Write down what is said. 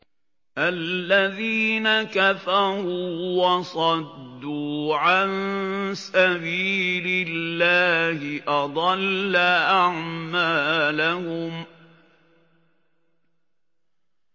الَّذِينَ كَفَرُوا وَصَدُّوا عَن سَبِيلِ اللَّهِ أَضَلَّ أَعْمَالَهُمْ